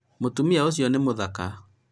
mũtumia ũcio nĩ mũthaka